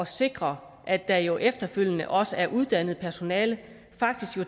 sikre at der jo efterfølgende også er uddannet personale